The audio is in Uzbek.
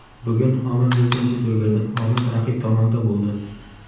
Bugun omad bizdan yuz o‘girdi, omad raqib tomonda bo‘ldi.